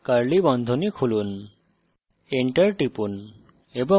তারপর আবার curly বন্ধনী খুলুন